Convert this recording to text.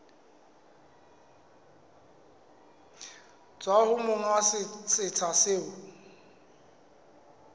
tswa ho monga setsha seo